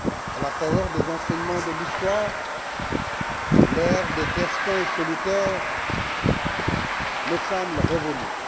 À la faveur des enseignements de l'histoire, l'heure des destins solitaires me semble révolue.